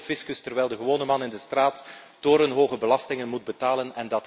Zij ontlopen de fiscus, terwijl de gewone man in de straat torenhoge belastingen moet betalen.